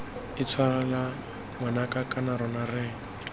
intshwarela ngwanaka kana rona re